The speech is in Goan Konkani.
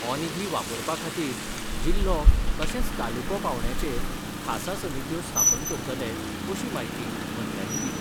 हो निधी वापरपा खातीर जिल्हो तशेंच तालुको पावंड्याचेर खासा समित्यो स्थापन करतले अशी म्हायती मंत्र्यांनी दिली.